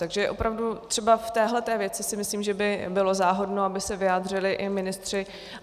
Takže opravdu třeba v této věci si myslím, že by bylo záhodno, aby se vyjádřili i ministři.